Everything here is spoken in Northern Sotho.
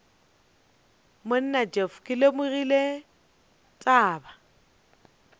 monna jeff ke lemogile taba